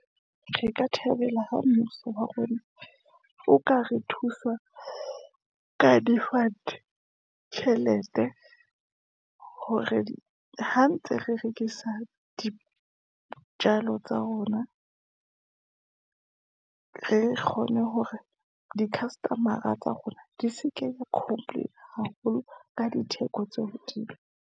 Re ka thabela ha mmuso wa rona, o ka re thusa ka di-fund-e, tjhelete hore ha ntse re rekisa dijalo tsa rona, re kgone hore di-customer-a tsa rona, di se ke ya complainer haholo, ka ditheko tse hodimo.